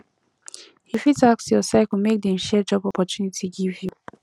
you fit ask your circle make dem share job opportunity give you